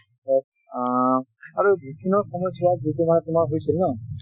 আ আৰু বিভিন্ন সময়চোৱাত,